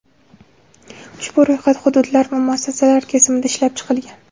Ushbu ro‘yxat hududlar va muassasalar kesimida ishlab chiqilgan.